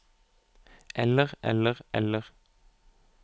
eller eller eller